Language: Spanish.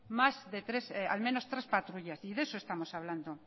tres patrullas y de eso estamos hablando